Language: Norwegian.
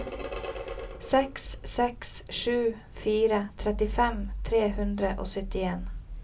seks seks sju fire trettifem tre hundre og syttien